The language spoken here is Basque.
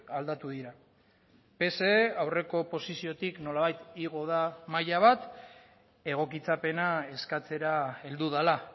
aldatu dira pse aurreko posiziotik nolabait igo da maila bat egokitzapena eskatzera heldu dela